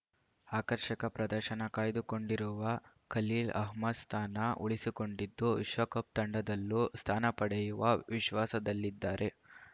ಆಕರ್ಷಕ ಪ್ರದರ್ಶನ ಕಾಯ್ದುಕೊಂಡಿರುವ ಖಲೀಲ್‌ ಅಹ್ಮದ್‌ ಸ್ಥಾನ ಉಳಿಸಿಕೊಂಡಿದ್ದು ವಿಶ್ವಕಪ್‌ ತಂಡದಲ್ಲೂ ಸ್ಥಾನ ಪಡೆಯುವ ವಿಶ್ವಾಸದಲ್ಲಿದ್ದಾರೆ